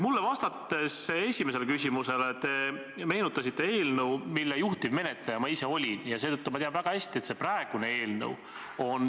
Minu esimesele küsimusele vastates te meenutasite eelnõu, mille juhtivmenetleja ma ise olin, ja seetõttu ma tean väga hästi, et see praegune eelnõu on ...